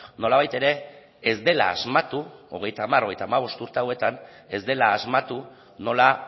nolabait ere ez dela asmatu hogeita hamar hogeita hamabost urte hauetan ez dela asmatu nola